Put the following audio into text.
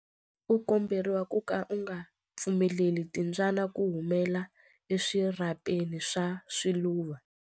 U komberiwa ku ka u nga pfumeleli timbyana ku humela eswirhapeni swa swiluva.